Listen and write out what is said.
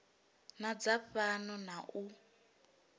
na dza fhano na u